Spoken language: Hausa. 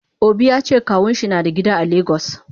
Obi yace kawunshi nada gida a lagos.